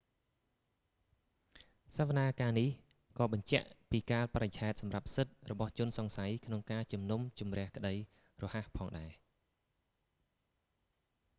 សវនាការនេះក៏បញ្ជាក់ពីកាលបរិច្ឆេទសម្រាប់សិទ្ធិរបស់ជនសង្ស័យក្នុងការជំនុំជម្រះក្តីរហ័សផងដែរ